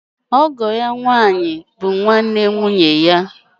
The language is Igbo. Ọgọ ya nwànyí bụ nwanne nwụnye ya.